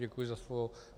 Děkuji za slovo.